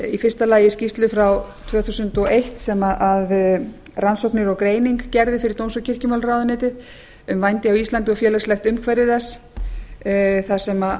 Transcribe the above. í fyrsta lagi skýrslu frá tvö þúsund og eitt sem rannsóknir og greining gerðu fyrir dóms og kirkjumálaráðuneytið um vændi á íslandi og félagslegt umhverfi þess þar sem